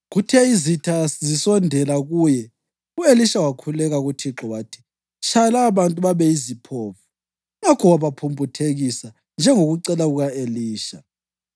Kuthe izitha zisondela kuye, u-Elisha wakhuleka kuThixo wathi, “Tshaya lababantu babe yiziphofu.” Ngakho wabaphumputhekisa, njengokucela kuka-Elisha.